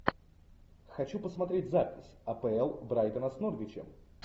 хочу посмотреть запись апл брайтона с норвичем